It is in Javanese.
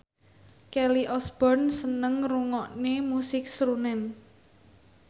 Kelly Osbourne seneng ngrungokne musik srunen